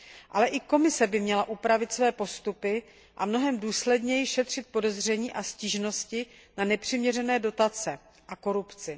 Ale i Komise by měla upravit své postupy a mnohem důsledněji šetřit podezření a stížnosti na nepřiměřené dotace a korupci.